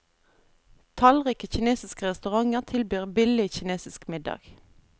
Tallrike kinesiske restauranter tilbyr billig kinesisk middag.